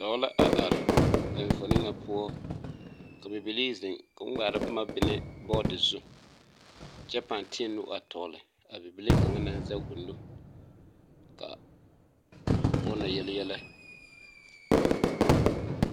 Doɔ la a arẽ a enfuomo nga pou ka bibilee zeng kuo mgaara buma benne board zu kye pãã teẽ nu a tɔgli a bibile kanga nang zeg ɔ nu ka ɔ na yelyelɛ.